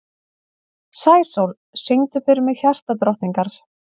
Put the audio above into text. Sæsól, syngdu fyrir mig „Hjartadrottningar“.